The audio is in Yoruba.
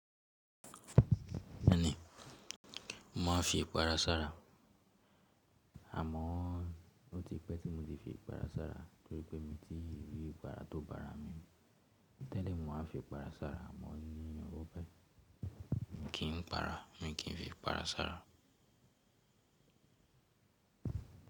Bẹ́ẹ̀ni, mò ń fi ìpara sára. Àmọ́ ó ti pẹ́ tí mo ti fi ipara sára torí pé mi tí rí ipara tó bára mi mu. Tẹ́lẹ̀ mò ń fi ìpara sára, àmọ́ ní ọwọ́ báyìí kí n para, mi kì í fi ìpara sára.